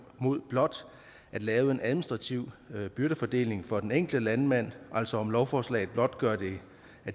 mod blot at lave en administrativ byrdefordeling for den enkelte landmand altså om lovforslaget blot gør det